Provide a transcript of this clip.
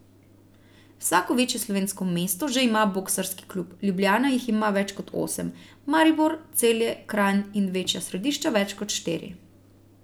Vsako večje slovensko mesto že ima boksarski klub, Ljubljana jih ima več kot osem, Maribor, Celje, Kranj in večja središča več kot štiri.